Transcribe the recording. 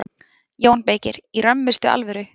JÓN BEYKIR: Í römmustu alvöru.